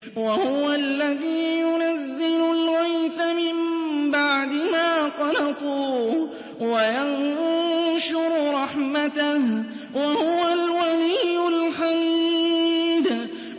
وَهُوَ الَّذِي يُنَزِّلُ الْغَيْثَ مِن بَعْدِ مَا قَنَطُوا وَيَنشُرُ رَحْمَتَهُ ۚ وَهُوَ الْوَلِيُّ الْحَمِيدُ